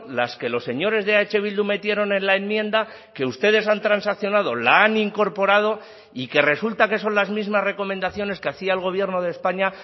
las que los señores de eh bildu metieron en la enmienda que ustedes han transaccionado la han incorporado y que resulta que son las mismas recomendaciones que hacía el gobierno de españa